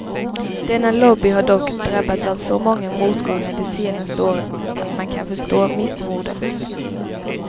Denna lobby har dock drabbats av så många motgångar de senaste åren att man kan förstå missmodet.